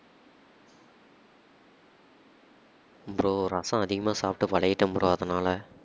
bro ரசம் அதிகமாக சாப்பிட்டு பழகிட்டேன் bro அதனால